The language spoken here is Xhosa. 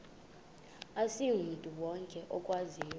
asimntu wonke okwaziyo